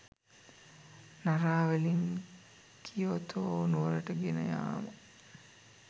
නරාවලින් Kyoto නුවරට ගෙනයාම